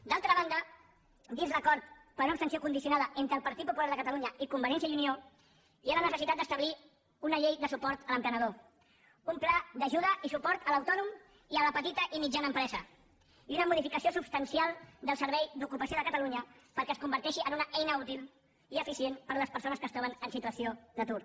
d’altra banda dins l’acord per una abstenció condicionada entre el partit popular de catalunya i convergència i unió hi ha la necessitat d’establir una llei de suport a l’emprenedor un pla d’ajuda i suport a l’autònom i a la petita i mitjana empresa i una modificació substancial del servei d’ocupació de catalunya perquè es converteixi en una eina útil i eficient per a les persones que es troben en situació d’atur